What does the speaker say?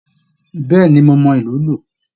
Bẹẹni, mo mọ ilù lu.